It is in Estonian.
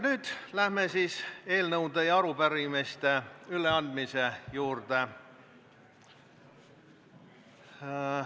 Nüüd aga läheme eelnõude ja arupärimiste üleandmise juurde.